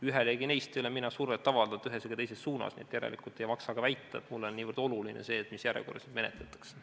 Ühelegi neist ei ole mina survet avaldanud ühes ega teises suunas, nii et järelikult ei maksa ka väita, et mulle on niivõrd oluline see, mis järjekorras neid menetletakse.